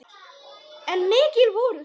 En mikil voru þau.